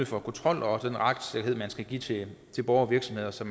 for kontrol og den retssikkerhed man skal give til borgere og virksomheder så